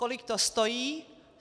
"Kolik to stojí?"